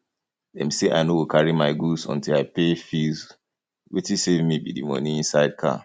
dey say i no go carry my goods until i pay fee wetin save me be the money inside car